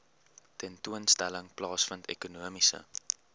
tentoonstelling plaasvind ekonomiese